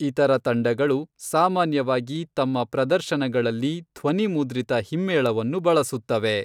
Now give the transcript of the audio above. ಇತರ ತಂಡಗಳು ಸಾಮಾನ್ಯವಾಗಿ ತಮ್ಮ ಪ್ರದರ್ಶನಗಳಲ್ಲಿ ಧ್ವನಿಮುದ್ರಿತ ಹಿಮ್ಮೇಳವನ್ನು ಬಳಸುತ್ತವೆ.